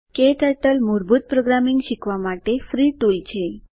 ક્ટર્ટલ મૂળભૂત પ્રોગ્રામિંગ શીખવા માટે ફ્રી ટુલ છે